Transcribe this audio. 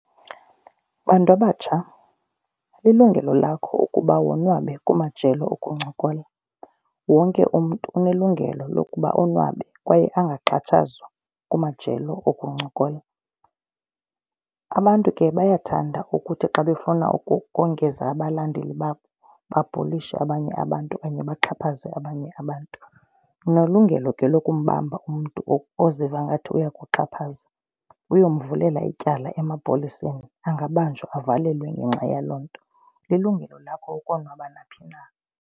Bantu abatsha, lilungelo lakho ukuba wonwabe kumajelo okuncokola. Wonke umntu unelungelo lokuba onwabe kwaye angaxhatshazwa kumajelo okuncokola. Abantu ke bayathanda ukuthi xa bafuna ukongeza abalandeli babo babhulishe abanye abantu okanye baxhaphaze abanye abantu. Unelungelo ke lokumbamba umntu oziva ngathi uyakuxhaphaza uyomvulela ityala emapoliseni. Angabanjwa avalelwe ngenxa yaloo nto, lilungelo lakho ukonwaba naphi na.